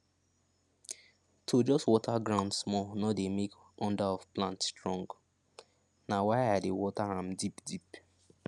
to just water ground small no dey make under of plant strong na why i dey water am deep deep